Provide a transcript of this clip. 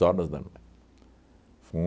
horas da noite.